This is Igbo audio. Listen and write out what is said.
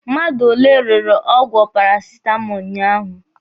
Mmadụ ole rere ọgwụ parasitamọlụ ụnyaahụ?